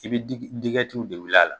I bɛ di dgɛtiw de wuli a la.